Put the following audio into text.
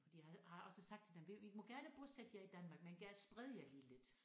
De havde har også sagt til dem det I må gerne bosætte jer i Danmark men gerne spred jer lige lidt